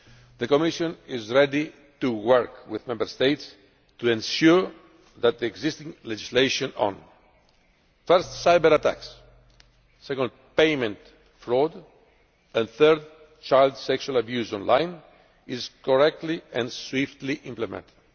The Commission is ready to work with the Member States to ensure that the existing legislation on, firstly, cyber attacks, secondly, payment fraud and, thirdly, child sexual abuse online is correctly and swiftly implemented.